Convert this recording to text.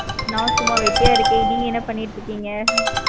நா சும்மா வெட்டியா இருக்கேன். நீங்க என்ன பண்ணிட்டு இருக்கீங்க?